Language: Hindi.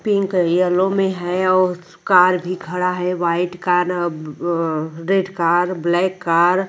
पिंक येलो में है और कार भी खड़ा है white car a red car black car --